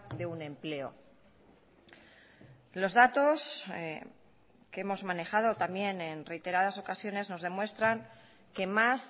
de un empleo los datos que hemos manejado también en reiteradas ocasiones nos demuestran que más